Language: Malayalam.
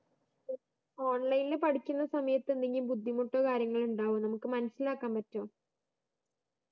online പഠിക്കുന്ന സമയത്ത് എന്തെങ്കിലും ബുദ്ധിമുട്ടോ കാര്യങ്ങളോ ഉണ്ടാവൊ നമ്മക്ക് മനസിലാക്കാന് പറ്റോ